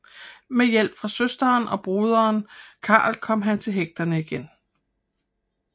Med hjælp fra søsteren og broderen Carl kom han til hægterne igen